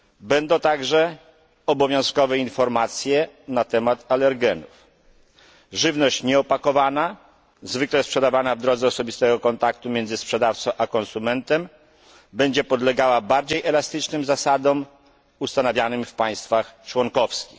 będą także umieszczane obowiązkowe informacje na temat alergenów, a żywność nieopakowana, zwykle sprzedawana w drodze osobistego kontaktu między sprzedawcą a konsumentem, będzie podlegała bardziej elastycznym zasadom ustanawianym w państwach członkowskich.